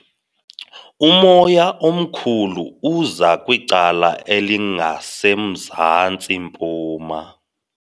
Umoya omkhulu uza kwicala elingasemzantsi-mpuma.